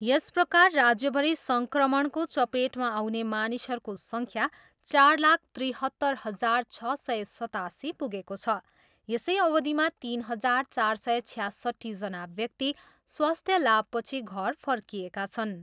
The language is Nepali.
यस प्रकार राज्यभरि सङ्क्रमणको चपेटमा आउने मानिसहरूको सङ्ख्या चार लाख त्रिहत्तर हजार छ सय सतासी पुगेको छ। यसै अवधिमा तिन हजार चार सय छयासट्ठीजना व्यक्ति स्वास्थ्य लाभपछि घर फर्किएका छन्।